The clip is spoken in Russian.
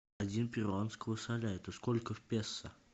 один перуанского соля это сколько в песо